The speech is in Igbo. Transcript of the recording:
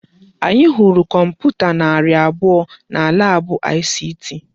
Anyị hụrụ kọmputa narị abụọ na laabụ ICT.